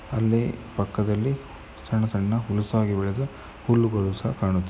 ಅಲ್ಲಿ ಪಕ್ಕದಲ್ಲಿ ಸಣ್ಣ ಸಣ್ಣ ಹುಲ್ಲುಸಾಗಿ ಬೆಳೆದು ಹುಲ್ಲುಗಳು ಸಹ ಕಾಣುತ್ತದೆ.